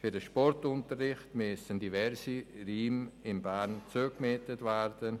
Für den Sportunterricht müssen diverse Räume in Bern zugemietet werden.